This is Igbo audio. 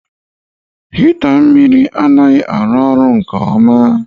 Hịta anaghị arụ ọrụ nke ọma